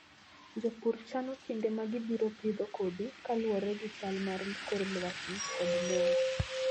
Jopur chano kinde ma gibiro pidho kodhi kaluwore gi chal mar kor lwasi kod lowo.